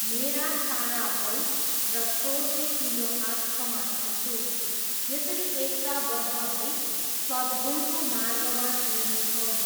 मेरा सारा बल र श्रोतले तिम्रो हात समाएको छु, यसरी एकताबद्ध भई सद्गुणको मार्गमा हिँड्नेछौँ।